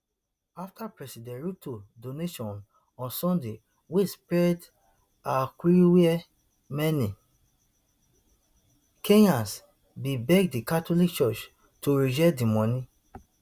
afta president ruto donation on sunday wey spread evriwia many kenyans bin beg di catholic church to reject di money